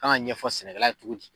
kan ka ɲɛfɔ sɛnɛkɛla ye cogo di.